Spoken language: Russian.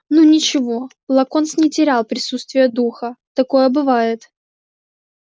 ну ничего локонс не терял присутствия духа такое бывает